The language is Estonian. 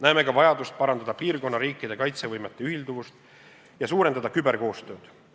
Näeme ka vajadust parandada piirkonna riikide kaitsevõime ühilduvust ja suurendada küberkoostööd.